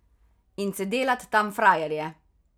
In se delat tam frajerje.